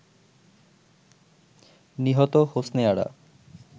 নিহত হোসনে আরা